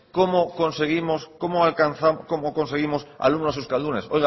cómo conseguimos alumnos euskaldunes